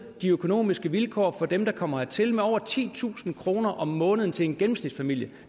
de økonomiske vilkår for dem der kommer hertil med over titusind kroner om måneden til en gennemsnitsfamilie